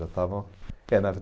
Já estava, é na